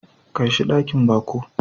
Kai shi dakin baƙo.